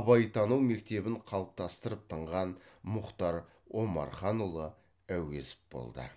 абайтану мектебін қалыптастырып тынған мұхтар омарханұлы әуезов болды